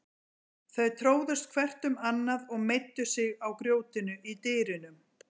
Þau tróðust hvert um annað og meiddu sig á grjótinu í dyrunum.